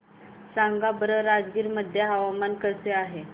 सांगा बरं राजगीर मध्ये हवामान कसे आहे